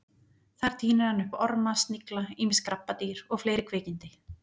Þar tínir hann upp orma, snigla, ýmis krabbadýr og fleiri kvikindi.